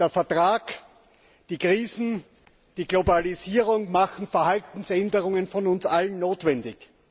Der Vertrag, die Krisen, die Globalisierung machen Verhaltensänderungen von uns allen notwendig.